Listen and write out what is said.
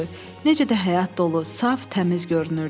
Necə də həyat dolu, saf, təmiz görünürdü.